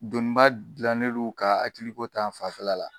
Doniba gilannen don ka hakili ko ta fanfɛla la.